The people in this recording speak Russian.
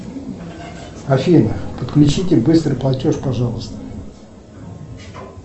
афина подключите быстрый платеж пожалуйста